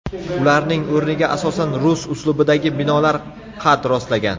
Ularning o‘rniga asosan rus uslubidagi binolar qad rostlagan.